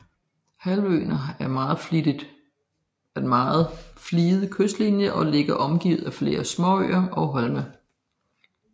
Halvøen har en meget fliget kystlinje og ligger omgivet af flere småøer og holme